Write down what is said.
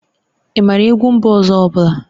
Ị maara egwu mba ọzọ ọ bụla?